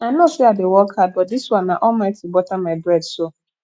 i know sey i dey work hard but dis one na almighty butter my bread so